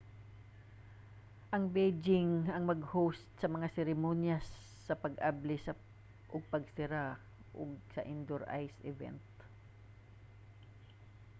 ang beijing ang mag-host sa mga seremonyas sa pag-abli ug pagsira og sa mga indoor ice event